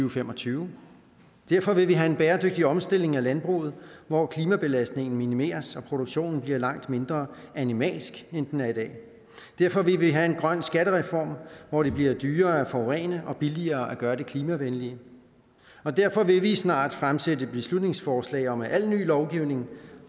og fem og tyve derfor vil vi have en bæredygtig omstilling af landbruget hvor klimabelastningen minimeres og produktionen bliver langt mindre animalsk end den er i dag derfor vil vi have en grøn skattereform hvor det bliver dyrere at forurene og billigere at gøre det klimavenlige og derfor vil vi snart fremsætte et beslutningsforslag om at al ny lovgivning